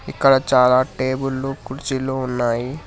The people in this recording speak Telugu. ఇక్కడ చాలా టేబుల్లు కుర్చీలు ఉన్నాయి.